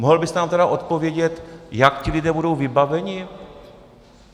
Mohl byste nám tedy odpovědět, jak ti lidé budou vybaveni?